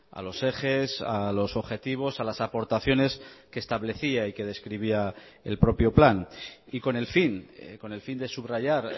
a los ejes a los objetivos a las aportaciones que establecía y que describía el propio plan y con el fin con el fin de subrayar